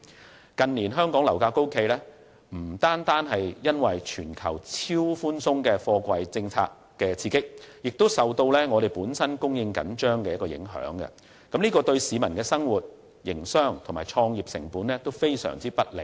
香港近年樓價高企，不單是受全球超寬鬆的貨幣政策刺激，亦受本地供應緊張影響，對市民的生活、營商及創業成本均非常不利。